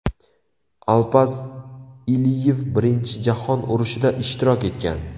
Alpaz Iliyev Birinchi jahon urushida ishtirok etgan.